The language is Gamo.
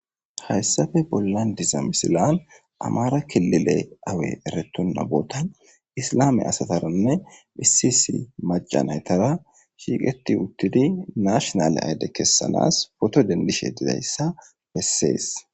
Hayssappe bollan diza misiley amahara kilile away erettona bootani issilame asatara issi issi macatara shiiqetti uuttidii nashinale ayide keesanas pooto dendishe dizayssa besses